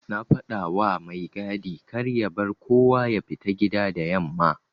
Na fadawa mai gadi karya bar kowa yafita gida da yamma.\